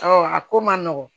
a ko man nɔgɔn